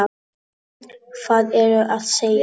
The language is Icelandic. Hvað ertu að segja?